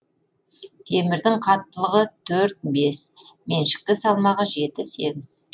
темірдің қаттылығы төрт бес меншікті салмағы жеті сегіз